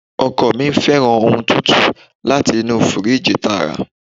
Ọkọ mi fẹ́ràn ohun tútù láti inú firiji tààrà.